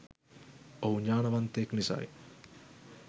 ඔහු ඥානවන්තයෙක් නිසයි.